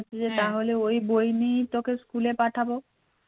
তাহলে ওই বই নিয়েই তোকে স্কুলে পাঠাবো